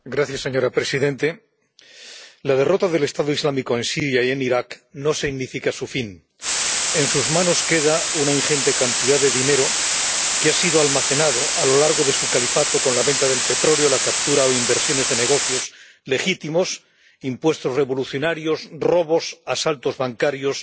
Señora presidenta, la derrota del Estado Islámico en Siria y en Irak no significa su fin en sus manos queda una ingente cantidad de dinero que ha sido almacenado a lo largo de su califato con la venta de petróleo, la captura o inversiones de negocios legítimos, impuestos revolucionarios, robos, asaltos bancarios,